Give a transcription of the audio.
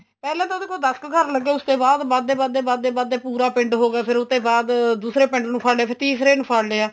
ਪਹਿਲਾਂ ਉਹਦੇ ਕੋਲ ਦੱਸ ਕ ਘਰ ਲੱਗੇ ਉਸ ਤੇ ਬਾਅਦ ਵਧੇ ਵਧੇ ਵਧੇ ਵਧੇ ਪੂਰਾ ਪਿੰਡ ਹੋ ਗਿਆ ਫੇਰ ਉਤੇ ਬਾਅਦ ਦੂਸਰੇ ਪਿੰਡ ਨੂੰ ਫੜ ਲਿਆ ਫੇਰ ਤੀਸਰੇ ਨੂੰ ਫੜ ਲਿਆ